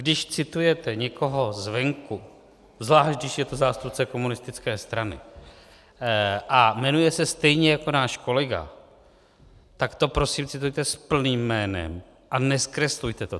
Když citujete někoho zvenku, zvlášť když je to zástupce komunistické strany a jmenuje se stejně jako náš kolega, tak to prosím citujte s plným jménem a nezkreslujte to.